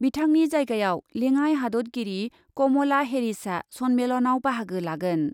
बिथांनि जायगायाव लेङाइ हादतगिरि कमला हेरिसआ सन्मेलनाव बाहागो लागोन।